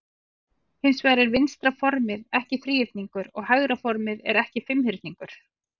Hins vegar er vinstra formið ekki þríhyrningur og hægra formið er ekki fimmhyrningur.